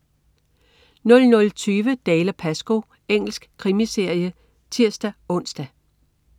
00.20 Dalziel & Pascoe. Engelsk krimiserie (tirs-ons)